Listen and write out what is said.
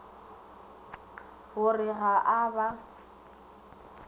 go re ga a ba